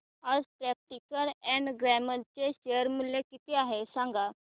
आज Procter and Gamble चे share मूल्य किती आहे मला सांगा